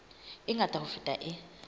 e ngata ho feta e